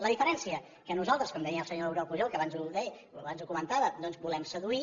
la diferència que nosaltres com deia el senyor oriol pujol que abans ho comentava doncs volem seduir